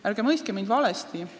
Ärge mõistke mind valesti!